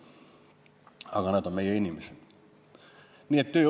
Aga nad on meie inimesed!